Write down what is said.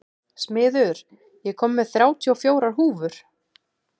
Smiður, ég kom með þrjátíu og fjórar húfur!